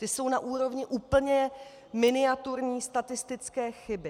Ty jsou na úrovni úplně miniaturní statistické chyby.